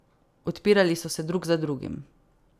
Odpirali so se drug za drugim.